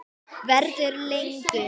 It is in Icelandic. Verður lengur.